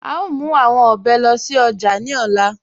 À ó mú awọn òbè lóṣì ojá ní òlà.